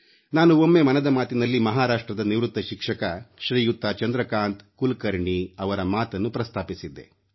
ನಾನು ಒಮ್ಮೆ ಮನದ ಮಾತಿನಲ್ಲಿ ಮಹಾರಾಷ್ಟ್ರದ ನಿವೃತ್ತ ಶಿಕ್ಷಕ ಶ್ರೀಯುತ ಚಂದ್ರಕಾಂತ್ ಕುಲಕರ್ಣಿ ಅವರ ಮಾತನ್ನು ಪ್ರಸ್ತಾಪಿಸಿದ್ದೆ